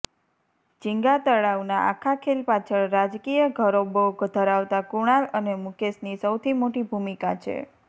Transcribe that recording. જિંગાતળાવના આખા ખેલ પાછળ રાજકીય ઘરોબો ધરાવતા કુણાલ અને મુકેશની સૌથી મોટી ભૂમિકા છે